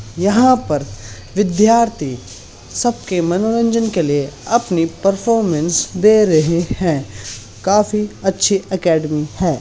यहा पर विधार्थी सभी सब के मनोरंजन के लिए अपनी परफॉर्मेंस दे रहे हैं काफी अच्छी एकेडमी है।